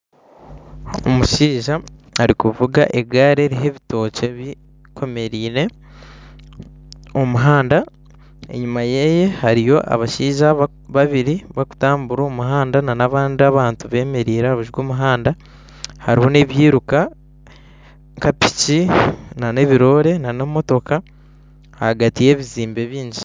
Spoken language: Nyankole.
Omushaija arikuvuga egaari eriho ebitookye bikomereine omu muhanda enyuma yeye hariyo abashaija babiri barikutambura omu muhanda nana abandi abantu bemereire aha rubaju rw'omuhanda hariho nebyiruka nka piki nana ebiroore nana emotoka ahagati yebizimbe byingi